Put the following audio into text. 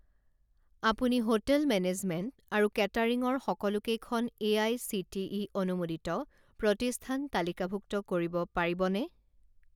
আপুনি hotel management আৰু catering ৰ সকলোকেইখন এআইচিটিই অনুমোদিত প্ৰতিষ্ঠান তালিকাভুক্ত কৰিব পাৰিবনে?